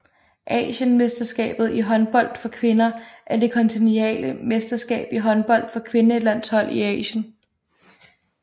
Asienmesterskabet i håndbold for kvinder er det kontinentale mesterskab i håndbold for kvindelandshold i Asien